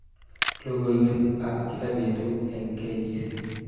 Logoiwekab kila betut eng kbc